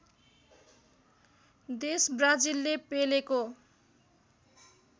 देश ब्राजिलले पेलेको